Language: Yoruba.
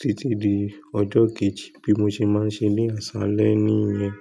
títí di ọjọ́ kejì. Bí mo ṣe máa ń ṣe ní àsálẹ́ nìyẹn.